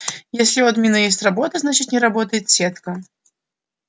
если у админа есть работа значит не работает сетка